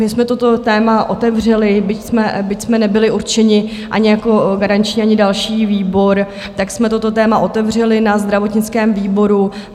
My jsme toto téma otevřeli, byť jsme nebyli určeni ani jako garanční, ani další výbor, tak jsme toto téma otevřeli na zdravotnickém výboru.